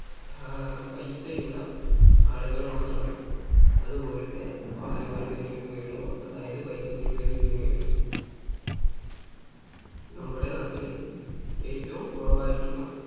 ഏർ പൈസ ഉള്ള ആളുകൾ മാത്രമേ അതുപോലത്തെ വാഹനങ്ങൾ വേടിക്കുകയുള്ളൂ അതായത് bike കൾ വേടിക്കുകയുള്ളൂ നമ്മുടെ നാട്ടിൽ ഏറ്റവും കുറവായിട്ടുള്ള